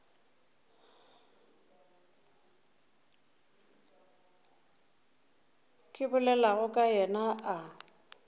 ke bolelago ka yena a